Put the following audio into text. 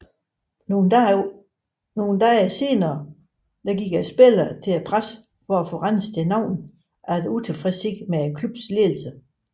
Nogle dage senere gik spillerne til pressen for at få renset deres navne efter utilfredshed med klubbens ledelse